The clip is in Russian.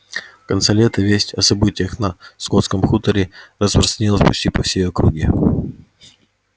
в конце лета весть о событиях на скотском хуторе распространилась почти по всей округе